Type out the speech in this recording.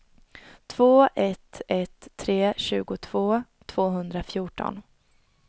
två ett ett tre tjugotvå tvåhundrafjorton